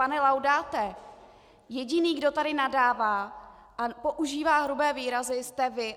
Pane Laudáte, jediný, kdo tady nadává a používá hrubé výrazy, jste vy.